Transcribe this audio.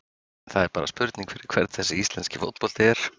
Það er bara spurning fyrir hvern þessi íslenski fótbolti er?